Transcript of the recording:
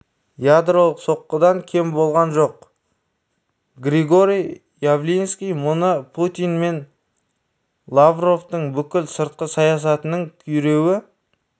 ядролық соққыдан кем болған жоқ григорий явлинский мұны путин мен лавровтың бүкіл сыртқы саясатының күйреуі